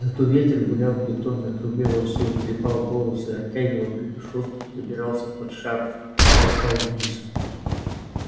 зато ветер гулял в бетонной трубе во всю трепал волосы оттягивал капюшон забирался под шарф толкал вниз